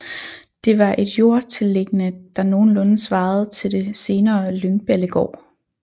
Det var et jordtilliggende der nogenlunde svarede til det senere Lyngballegård